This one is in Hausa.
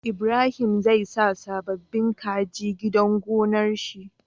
Ibrahim zai sa sababin kaji gidan gonar shi